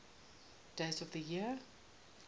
days of the year